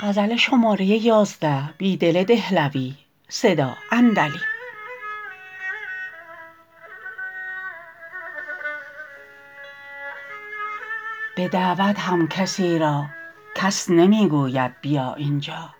به دعوت هم کسی راکس نمی گوید بیا اینجا